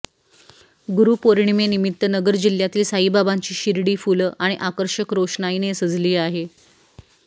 गुरूपोर्णिनिमित्त नगर जिल्ह्यातील साईबाबांची शिर्डी फुलं आणि आकर्षक रोषनाईने सजली आहे